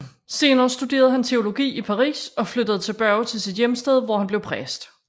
Senere studerede han teologi i Paris og flyttede tilbage til sit hjemsted hvor han blev præst